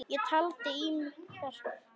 Ég taldi í mig kjark.